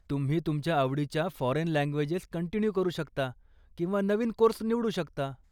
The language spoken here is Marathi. तुम्ही तुमच्या आवडीच्या फॉरेन लँग्वेजेस कंटिन्यू करू शकता किंवा नवीन कोर्स निवडू शकता.